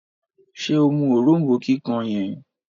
ṣe mú òrombó kíkàn yen?